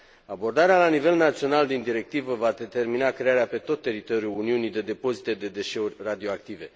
Abordarea la nivel național din directivă va determina crearea pe tot teritoriul Uniunii de depozite de deșeuri radioactive.